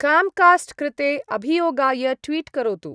Comcast कृते अभियोगाय tweet करोतु।